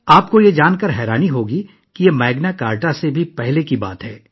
آپ کو یہ جان کر حیرت ہوگی کہ یہ میگنا کارٹا سے بھی کافی پہلے کا ہے